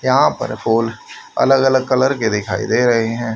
यहां पर फुल अलग अलग कलर के दिखाई दे रहे हैं।